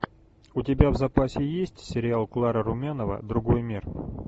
у тебя в запасе есть сериал клара румянова другой мир